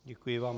Děkuji vám.